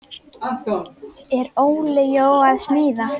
Er Óli Jó að smíða?